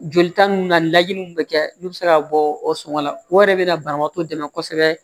Jolita ninnu na ni lajiniw bɛ kɛ n'u bɛ se ka bɔ o sɔngɔ la o yɛrɛ bɛ na banabagatɔ dɛmɛ kosɛbɛ